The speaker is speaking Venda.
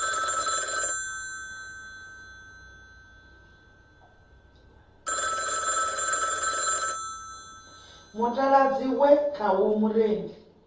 mutaladzi we khawo murendi a